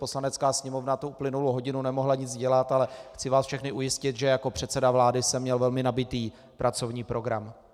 Poslanecká sněmovna tu uplynulou hodinu nemohla nic dělat, ale chci vás všechny ujistit, že jako předseda vlády jsem měl velmi nabitý pracovní program.